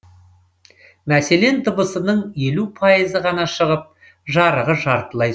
мәселен дыбысының елу пайызы ғана шығып жарығы жартылай